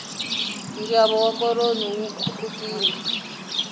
nxavo wa koroni wu khupukile